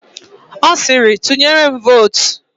Ọ sịrị, "tụnyere m vootu"!